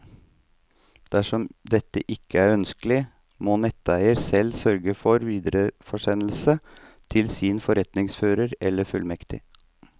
Dersom dette ikke er ønskelig, må netteier selv sørge for videresendelse til sin forretningsfører eller fullmektig.